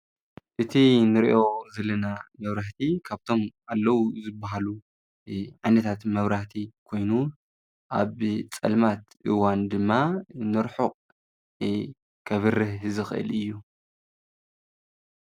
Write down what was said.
እቲ ንርእዮ ዘለና ነውራህቲ ካብቶም ኣለዉ ዘበሃሉ ዓኔታት መብራህቲ ኮይኑን ኣብ ጸልማት እዋን ድማ ነርኁቕ ከብርህ ዝኽእል እዩ።